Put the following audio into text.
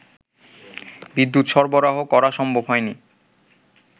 বিদ্যুৎ সরবরাহ করা সম্ভব হয়নি